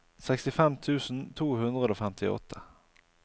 sekstifem tusen to hundre og femtiåtte